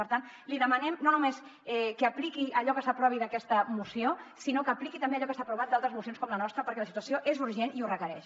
per tant li demanem no només que apliqui allò que s’aprovi d’aquesta moció sinó que apliqui també allò que s’ha aprovat d’altres mocions com la nostra perquè la situació és urgent i ho requereix